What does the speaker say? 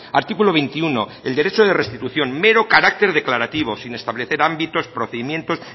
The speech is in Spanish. artículo veintiuno el derecho de restitución mero carácter declarativo sin establecer ámbitos procedimientos